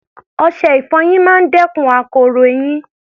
Ọṣẹ-ìfọyín máa ń dẹ́kun akoro eyín